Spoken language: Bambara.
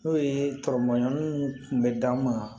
N'o ye tɔɔrɔmayani kun bɛ d'an ma